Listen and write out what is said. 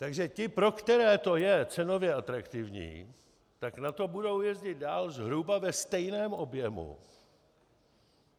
Takže ti, pro které to je cenově atraktivní, tak na to budou jezdit dál zhruba ve stejném objemu.